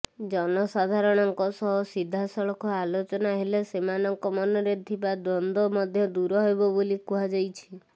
ଜନସାଧାରଣଙ୍କ ସହ ସିଧାସଳଖ ଆଲୋଚନା ହେଲେ ସେମାନଙ୍କ ମନରେ ଥିବା ଦ୍ୱନ୍ଦ୍ୱ ମଧ୍ୟ ଦୂର ହେବ ବୋଲି କୁହାଯାଇଛି